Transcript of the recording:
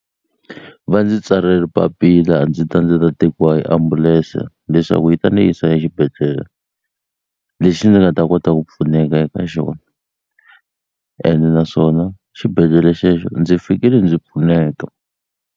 Va ndzi tsalele papila ndzi ta ndzi ta tekiwa hi ambulense leswaku yi ta ni yisa exibedhlele lexi ni nga ta kota ku pfuneka eka xona ene naswona xibedhlele xexo ndzi fikile ndzi pfuneka.